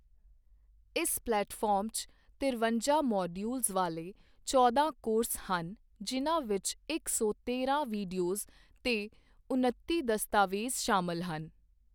ਇਸ ਪਲੇਟਫ਼ਾਰਮ 'ਚ ਤਿਰਵੰਜਾ ਮੌਡਿਯੂਲਸ ਵਾਲੇ ਚੌਦਾਂ ਕੋਰਸ ਹਨ ਜਿਨ੍ਹਾਂ ਵਿੱਚ ਇੱਕ ਸੌ ਤੇਰਾਂ ਵਿਡੀਓਜ਼ ਤੇ ਉਨੱਤੀ ਦਸਤਾਵੇਜ਼ ਸ਼ਾਮਲ ਹਨ।